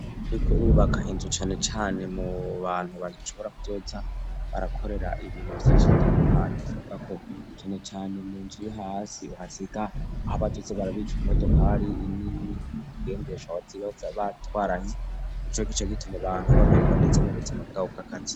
Iyuriko urubaka inzu cane cane mu bantu bagishobora kuzoza barakorera ibintu vyinshi bitandukanye bisabwa ko cane cane munzu yo hasi uhasiga aho bazoja barabika imodokari nini nini ingendeshwa bazoba batwaranye nico gituma abantu bameregwa neza mu buzima bwabo bw,akazi